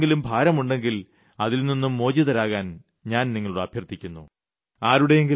അത്തരത്തിലുള്ള എന്തെങ്കിലും ഭാരമുണ്ടെങ്കിൽ അതിൽ നിന്നും മോചിതരാകാൻ ഞാൻ നിങ്ങളോട് അഭ്യർത്ഥിക്കുന്നു